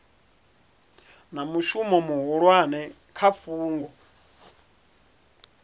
na mushumo muhulwane kha fhungo